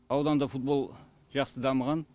ауданда футбол жақсы дамыған